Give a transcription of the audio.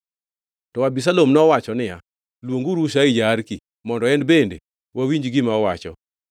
To Abisalom nowacho niya, “Luonguru Hushai ja-Arki, mondo en bende wawinj gima owacho.”